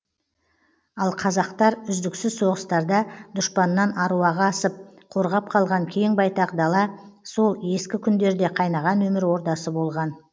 ал қазақтар үздіксіз соғыстарда дұшпаннан аруағы асып қорғап қалған кең байтақ дала сол ескі күндерде қайнаған өмір ордасы болған